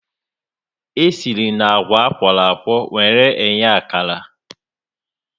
E si na àgwà a kwọrọ akwọ were eghe akara